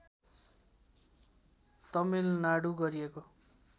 तमिलनाडु गरिएको